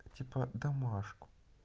типа домашку